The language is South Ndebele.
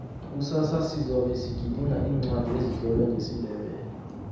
kusasa sizabe sigidinga iincwadi ezitlolwe ngesindebele